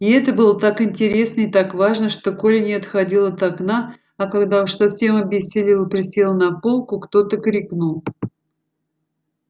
и это было так интересно и так важно что коля не отходил от окна а когда уж совсем обессилел и присел на полку кто то крикнул